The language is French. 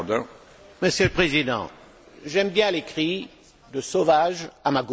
Monsieur le Président, j'aime bien les cris de sauvages, à ma gauche.